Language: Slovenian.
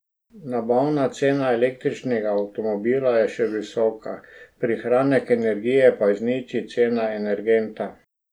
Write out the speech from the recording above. Nabavna cena električnega avtomobila je še visoka, prihranek energije pa izniči cena energenta.